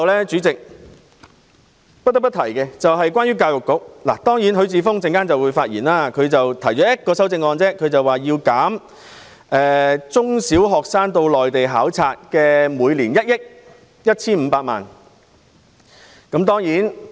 主席，最後，關於教育局，許智峯議員只提出了一項修正案，要求削減中小學生參加內地交流計劃的經費1億 1,500 萬元。